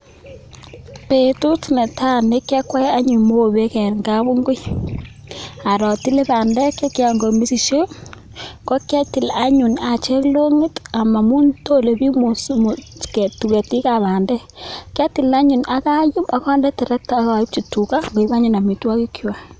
Betut netai nekiyakwei anyun mobek en kabingui aro atile bandek chekiyaen Koi mesishek kokiatil anyun acheng longit amun tore bik ketik ab bandek kiatil anyun akayum Akande terekta akaib tuga koib anyu amitwagik chwak